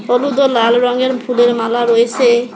হলুদ ও লাল রঙের ফুলের মালা রয়েসে।